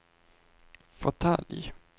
fåtölj